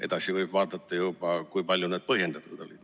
Edasi võib vaadata, kui palju need põhjendatud olid.